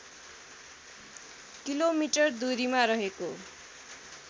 kilometre दुरीमा रहेको